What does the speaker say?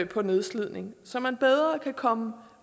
på nedslidning så man bedre kan komme